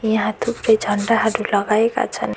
यहाँ थुप्रै झण्डाहरू लगाएका छन्।